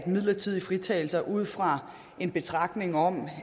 midlertidige fritagelser ud fra en betragtning om